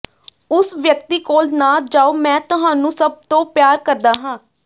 ਉਸ ਵਿਅਕਤੀ ਕੋਲ ਨਾ ਜਾਓ ਮੈਂ ਤੁਹਾਨੂੰ ਸਭ ਤੋਂ ਪਿਆਰ ਕਰਦਾ ਹਾਂ